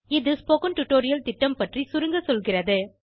இது spoken tutorial திட்டம் பற்றி சுருங்கசொல்கிறது